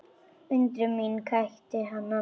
Undrun mín kætti hana.